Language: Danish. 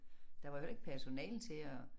Der var jo heller ikke personale til at